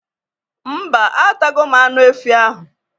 Mba, atago m anụ efi ahụ